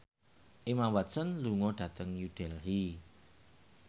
Emma Watson lunga dhateng New Delhi